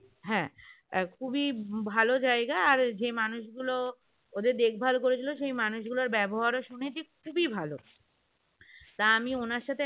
হ্যাঁ খুবই ভালো জায়গা আর যেই মানুষগুলো ওদের দেখভাল করেছিল সেই মানুষগুলোর ব্যবহার ও শুনেছি খুবই ভালো তা আমি উনার সাথে